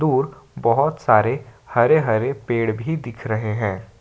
और बहोत सारे हरे हरे पेड़ भी दिख रहे हैं।